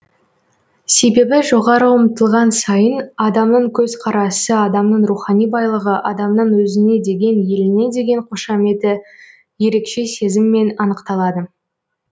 себебі жоғары ұмтылған сайын адамның көзқарасы адамның рухани байлығы адамның өзіне деген еліне деген қошаметі ерекше сезіммен анықталады